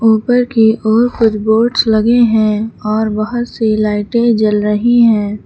ऊपर की ओर कुछ बोर्ड्स लगे हैं और बहोत से लाइटें जल रही हैं।